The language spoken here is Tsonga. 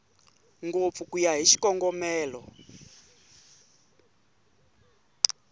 ngopfu ku ya hi xikongomelo